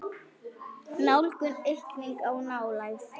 Nálgun: aukning á nálægð?